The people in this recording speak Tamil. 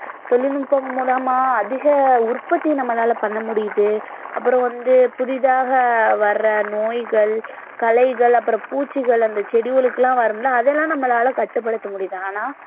தொழில்நுட்பம் மூலமா அதிக உற்பத்தி நம்மளால பண்ண முடியுது அப்புறம் வந்து புதிதாக வர நோய்கள் களைகள் அப்புறம் பூச்சிகள் அந்தச் செடிகளுக்கெல்லாம் வரும் இல்ல அதெல்லாம் நம்மளால கட்டுப்படுத்த முடியுது ஆனா